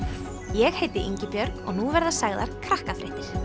ég heiti Ingibjörg og nú verða sagðar Krakkafréttir